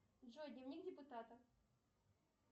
джой дневник депутата